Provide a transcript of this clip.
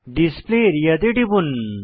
display area তে টিপুন